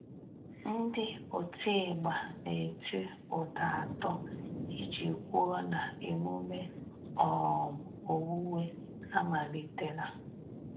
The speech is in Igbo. Ndị otigba na-eti ụda atọ iji kwụo na emume um owuwe amalitela.